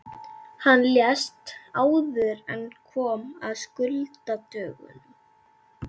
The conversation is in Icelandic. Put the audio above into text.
Hann lést áður en kom að skuldadögunum.